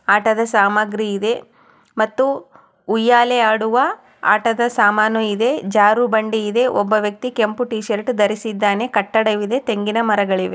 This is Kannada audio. ಆಟದ ಸಾಮಗ್ರಿ ಇದೆ ಮತ್ತು ಉಯ್ಯಾಲೆ ಆಡುವ ಆಟದ ಸಾಮಾನು ಇದೆ ಜಾರುಬಂಡೆ ಇದೆ ಒಬ್ಬ ವ್ಯಕ್ತಿ ಕೆಂಪು ಟಿ ಶರ್ಟ್ ಧರಿಸಿದ್ದಾನೆ ಕಟ್ಟಡವಿದೆ ತೆಂಗಿನ ಮರಗಳಿವೆ.